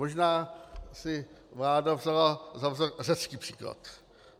Možná si vláda vzala za vzor řecký příklad.